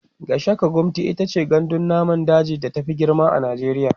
Gashaka-gumti itace gandun namun daji da ta Fi girma a najeriya